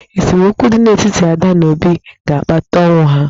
Esemokwu dị n'etiti Ada na Obi ga-akpata ọnwụ ha.